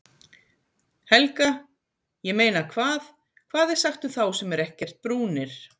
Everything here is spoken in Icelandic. Helga: Ég meina hvað, hvað er sagt um þá sem eru ekkert brúnir?